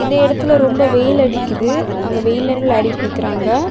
இந்த இடத்துல ரொம்ப வெயில் அடிக்குது அங்க வெயில் நின்னு விளாடிட்டு நிக்கறாங்க.